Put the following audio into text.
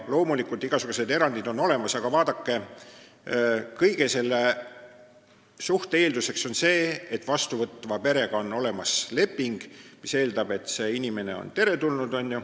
Loomulikult igasugused erandid on olemas, aga selle töö eelduseks on, et vastuvõtva perega on sõlmitud leping, mis eeldab, et inimene on teretulnud.